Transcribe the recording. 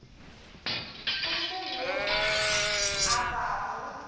o fe yo a obago